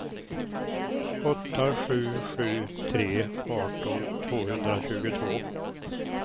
åtta sju sju tre arton tvåhundratjugotvå